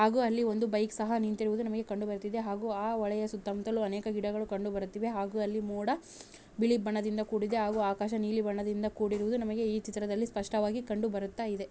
ಹಾಗು ಅಲ್ಲಿ ಒಂದು ಬೈಕ್‌ ಸಹಾ ನಿಂತಿರುವುದು ನಮಗೆ ಕಂಡು ಬರುತ್ತಿದೆ ಹಾಗು ಆ ಹೊಳೆಯ ಸುತ್ತ ಮುತ್ತಲೂ ಅನೇಕ ಗಿಡಗಳು ಕಂಡು ಬರುತ್ತಿವೆ ಹಾಗು ಅಲ್ಲಿ ಮೋಡ ಬಿಳಿ ಬಣ್ಣದಿಂದ ಕೂಡಿದೆ ಹಾಗು ಆಕಾಶ ನೀಲಿ ಬಣ್ಣದಿಂದ ಕೂಡಿರುವುದು ನಮಗೆ ಈ ಚಿತ್ರದಲ್ಲಿ ಸ್ಪಷ್ಟವಾಗಿ ಕಂಡು ಬರುತ್ತಾ ಇದೆ.